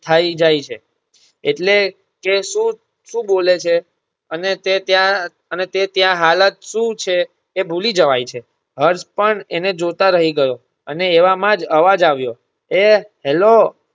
થઇ જાય છે એટલે તે શું~શું બોલે છે અને તે ત્યાં~અને તે ત્યાં હાલત શું છે તે ભૂલી જવાય છે હર્ષ પણ તેને જોતા રહી ગયો અને એવામાં જ અવાજ આવ્યો એ હલો